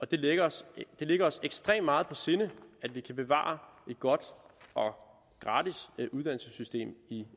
det ligger os ligger os ekstremt meget på sinde at vi kan bevare et godt og gratis uddannelsessystem i